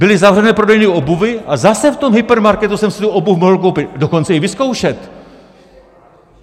Byly zavřené prodejny obuvi, a zase v tom hypermarketu jsem si tu obuv mohl koupit, dokonce i vyzkoušet.